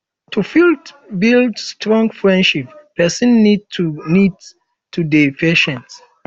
to fit build strong friendship person need to need to dey patient